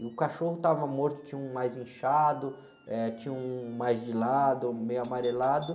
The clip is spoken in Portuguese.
E o cachorro estava morto, tinha um mais inchado, eh, tinha um mais de lado, meio amarelado.